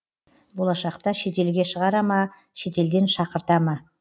болашақта шетелге шығара ма шетелден шақырта ма